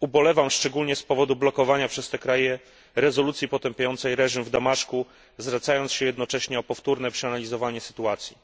Ubolewam szczególnie z powodu blokowania przez te kraje rezolucji potępiającej reżim w Damaszku, zwracając się jednocześnie o powtórne przeanalizowanie sytuacji.